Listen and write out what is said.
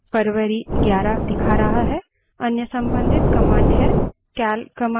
यह फरवारी 11 दिखा रहा है